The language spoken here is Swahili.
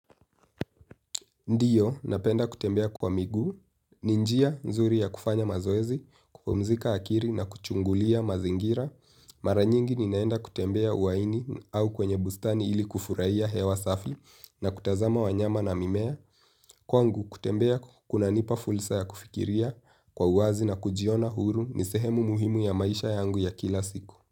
Ndiyo, napenda kutembea kwa migu, ninjia nzuri ya kufanya mazoezi, kupumzika akiri na kuchungulia mazingira. Maranyingi ninaenda kutembea uwaini au kwenye bustani ili kufurahia hewa safi na kutazama wanyama na mimea. Kwangu kutembea kuna nipa fulsa ya kufikiria kwa uwazi na kujiona huru ni sehemu muhimu ya maisha yangu ya kila siku.